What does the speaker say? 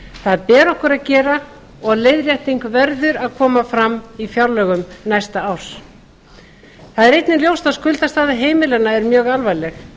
það ber okkur að gera og leiðrétting verður að fram fram í fjárlögum næsta árs það er einnig ljóst að skuldastaða heimilanna er mjög alvarleg